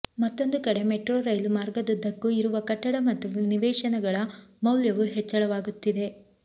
ಮತ್ತೊಂದು ಕಡೆ ಮೆಟ್ರೊ ರೈಲು ಮಾರ್ಗದುದ್ದಕ್ಕೂ ಇರುವ ಕಟ್ಟಡ ಮತ್ತು ನಿವೇಶನಗಳ ಮೌಲ್ಯವೂ ಹೆಚ್ಚಳವಾಗುತ್ತಿದೆ